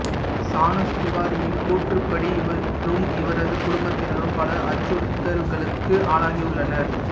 சானசு புகாரியின் கூற்றுப்படி இவரும் இவரது குடும்பத்தினரும் பல அச்சுறுத்தல்கள்களுக்கு ஆளாகியுள்ளனர்